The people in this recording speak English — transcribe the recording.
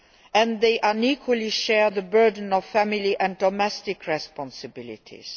and they unequally share the burden of family and domestic responsibilities.